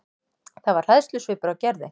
Það var hræðslusvipur á Gerði.